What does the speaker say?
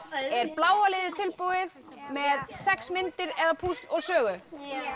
er bláa liðið tilbúið með sex myndir eða púsl og sögu